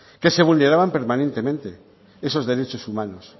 que se vulneraban permanentemente esos derechos humanos